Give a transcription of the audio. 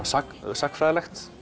sagnfræðilegt